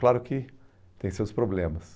Claro que tem seus problemas.